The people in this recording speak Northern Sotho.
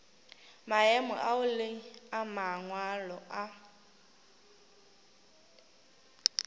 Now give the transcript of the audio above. maemo ao le mangwalo a